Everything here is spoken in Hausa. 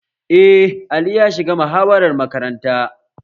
Eh, Ali ya shiga muhawara makaranta